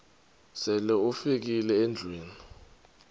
sele ufikile endlwini